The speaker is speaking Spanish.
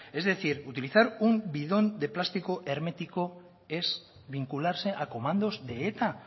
es decir utilizar un bidón de plástico hermético es vincularse a comandos de eta